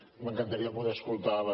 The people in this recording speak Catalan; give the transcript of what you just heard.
m’encantaria poder escoltar les